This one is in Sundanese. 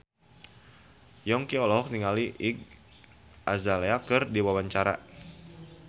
Yongki olohok ningali Iggy Azalea keur diwawancara